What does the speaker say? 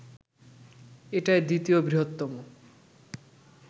এটাই দ্বিতীয় বৃহত্তম